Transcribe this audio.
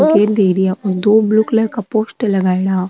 और दो blue colour का पोस्टर लगायेडा।